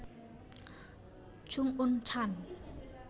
Chung Un chan